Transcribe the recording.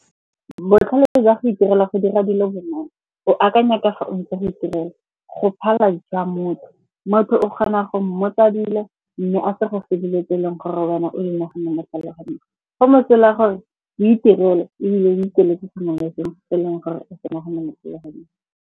Botlhale jwa go itirela go dira dilo bonolo, o akanya ka fa o ntse o itirela. Go phala jwa motho, motho o kgona go mmotsa dilo mme a sa go fe dilo tse e leng gore wena o di naganne mo tlhaloganyong. Go mosola gore witirele ebile wikeletse sengwe le sengwe se e leng gore e se naganne mo .